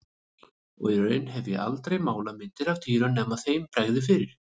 Og í raun hef ég aldrei málað myndir af dýrum nema þeim bregði fyrir.